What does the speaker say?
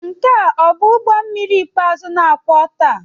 Nke a ọ bụ ụgbọ mmiri ikpeazụ na-akwọ taa?